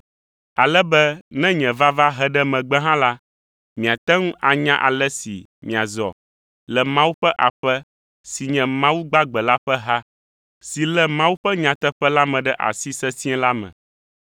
ale be ne nye vava he ɖe megbe hã la, miate ŋu anya ale si miazɔ le Mawu ƒe aƒe si nye Mawu gbagbe la ƒe ha, si lé Mawu ƒe nyateƒe la me ɖe asi sesĩe la me.